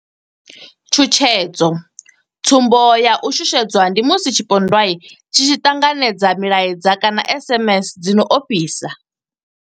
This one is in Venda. Tshutshedzo tsumbo ya u shushedzwa ndi musi tshipondwa tshi tshi ṱanganedza milaedza kana SMS dzi no ofhisa.